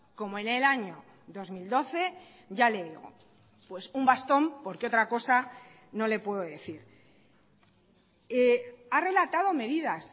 como en el año dos mil doce ya le digo pues un bastón porque otra cosa no le puedo decir ha relatado medidas